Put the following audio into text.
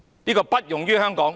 這不容於香港！